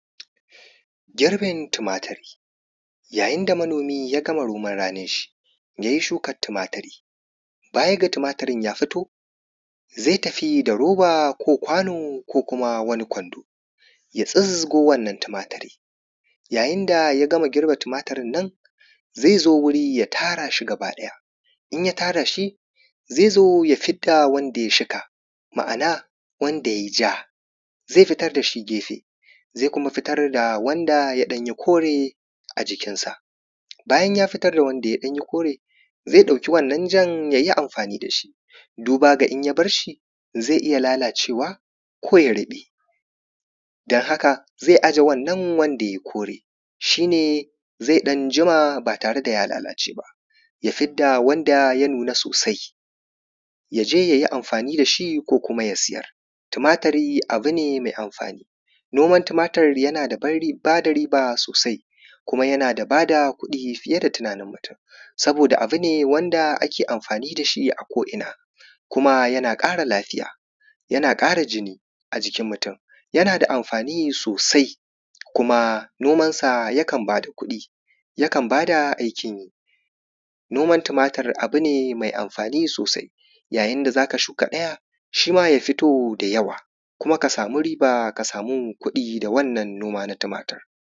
Girbin tumaturi, yayin da manomi ya gama noman ranin shi. Da yai shukan tumaturi, baya ga tumaturi ya fito, zai tafi da roba ko kwano ko kuma wani kwando, ya tsingo wannan tumaturi yayin da ya gama girbin tumaturin nan. Zai zo wuri ya tara shi gaba ɗaya, ya tara shi zai zo ya fidda wanda yai fika ma’ana wanda yai ya zai fitar a gefe, zai kuma fitar da wanda ya yi ɗan kore a jikinsa, bayan ya fitar da wanda ya yi ɗan kore. Zai ɗauki wannan yan ya yi amfani da shi, duba da in ya bar shi zai iya lalacewa ko ya ruɓe. dan haka zai ajiye wannan wanda ya yi kore, shi ne zai ɗan jima bare da ya lalace ba. Ya fidda wanda ya nuna sosa ya je ya yi amfani da shi ko kuma ya sayar. Tumaturi abu ne mai amfani, noman tumaturi yana da ban ba da riba sosai, kuma yana da kuɗi fi ye da tunanin mutum. Saboda abu she da ake amfani da shi a ko’ina. Kuma yana ƙara lafiya yana ƙara jini a jikin mutum. Yana da amfani sosai kuma nomarsa yakan ba da kuɗi sosai yakan ba da aikin yi. Noman tumaturi abu ne mai amfani sosai, yayin da za ka shuka ɗaya shi ma ya fito da yawa, kuma ka sami riba ka sami kuɗi da wannan noma na tumatur.